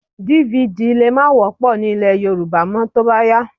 DVD lè má wọ́pọ̀ ní ilẹ̀ Yorùbá mọ́ tó bá yá